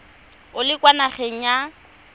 o le kwa nageng ya